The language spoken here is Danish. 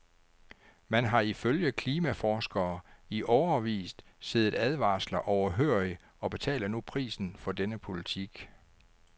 Man har ifølge klimaforskere i årevis siddet advarsler overhørig og betaler nu prisen for denne politik.